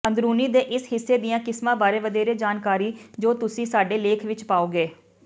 ਅੰਦਰੂਨੀ ਦੇ ਇਸ ਹਿੱਸੇ ਦੀਆਂ ਕਿਸਮਾਂ ਬਾਰੇ ਵਧੇਰੇ ਜਾਣਕਾਰੀ ਜੋ ਤੁਸੀਂ ਸਾਡੇ ਲੇਖ ਵਿਚ ਪਾਓਗੇ